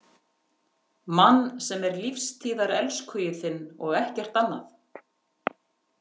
Mann sem sé lífstíðarelskhugi þinn og ekkert annað.